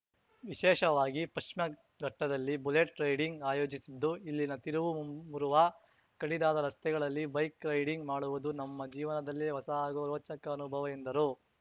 ವಿಶೇಷವಾಗಿ ಪಶ್ಚಿಮಘಟ್ಟದಲ್ಲಿ bullet riding ಆಯೋಜಿಸಿದ್ದು ಇಲ್ಲಿನ ತಿರುವು ಮುರುವ ಕಡಿದಾದ ರಸ್ತೆಗಳಲ್ಲಿ ಬೈಕ್‌ ರೈಡಿಂಗ್‌ ಮಾಡುವುದು ನಮ್ಮ ಜೀವನದಲ್ಲೇ ಹೊಸ ಹಾಗೂ ರೋಚಕ ಅನುಭವ ಎಂದರು